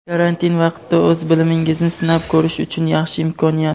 Karantin vaqtida o‘z bilimingizni sinab ko‘rish uchun yaxshi imkoniyat!.